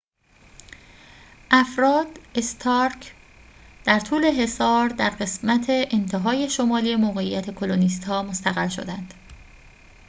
افراد استارک در طول حصار در قسمت انتهای شمالی موقعیت کلونیست‌ها مستقر شدند